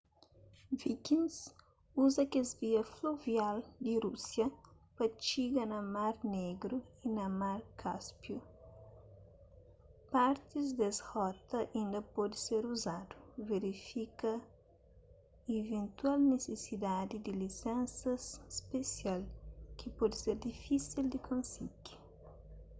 vikings uza kes vias fluvial di rúsia pa txiga na mar negru y na mar káspiu partis des rota inda pode ser uzadu verifika iventual nisisidadi di lisensas spesial ki pode ser difísil di konsigi